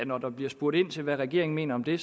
når der bliver spurgt ind til hvad regeringen mener om det